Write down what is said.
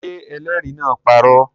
Ṣé ẹlẹ́rìí náà parọ́?